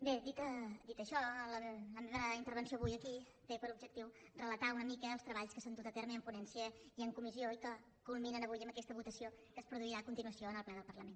bé dit això la meva intervenció avui aquí té per objectiu relatar una mica els treballs que s’han dut a terme en ponència i en comissió i que culminen avui en aquesta votació que es produirà a continuació en el ple del parlament